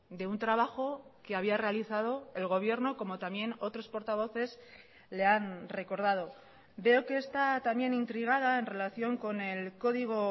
de un trabajo que había realizado el gobierno como también otros portavoces le han recordado veo que está también intrigada en relación con el código